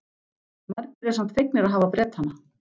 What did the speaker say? Margir eru samt fegnir að hafa Bretana.